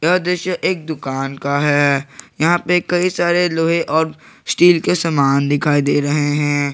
यह दृश्य एक दुकान का है यहां पे कई सारे लोहे और स्टील के समान दिखाई दे रहे हैं।